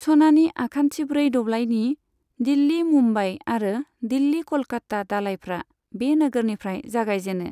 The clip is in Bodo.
सनानि आखान्थिब्रै दब्लाइनि दिल्ली मुम्बाइ आरो दिल्ली क'लकात्ता दालाइफ्रा बे नोगोरनिफ्राय जागायजेनो।